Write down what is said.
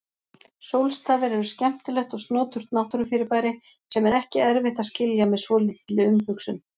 Sólstafir eru skemmtilegt og snoturt náttúrufyrirbæri sem er ekki erfitt að skilja með svolítilli umhugsun.